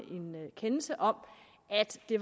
kendelse om at det